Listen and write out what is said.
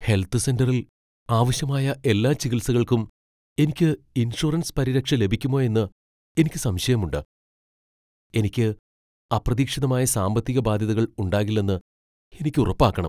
Health സെന്ററിൽ ആവശ്യമായ എല്ലാ ചികിത്സകൾക്കും എനിക്ക് ഇൻഷുറൻസ് പരിരക്ഷ ലഭിക്കുമോ എന്ന് എനിക്ക് സംശയമുണ്ട് . എനിക്ക് അപ്രതീക്ഷിതമായ സാമ്പത്തിക ബാധ്യതകൾ ഉണ്ടാകില്ലെന്ന് എനിക്ക് ഉറപ്പാക്കണം .